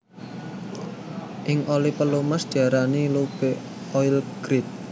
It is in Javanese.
Ing Oli pelumas diarani lube oil grade